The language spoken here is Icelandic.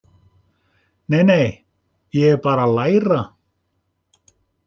Nei, nei, ég er bara að læra.